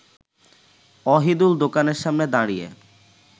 অহিদুল দোকানের সামনে দাঁড়িয়ে